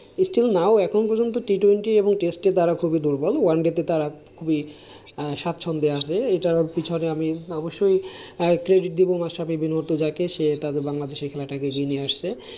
still now এখনো বেলা T twenty এখনো test এ তারা খুবই দুর্বল। oneday তে তারা খুবই স্বাচ্ছন্দে আসবে এটা এটার পিছনে আমি অবশ্যই credit দিবো মাশরাফি মুর্তজা কে তাদের বাংলাদেশের খেলাটা খেলিয়ে নিয়ে আসতে ।